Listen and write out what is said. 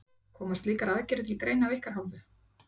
Koma slíkar aðgerðir til greina af ykkar hálfu?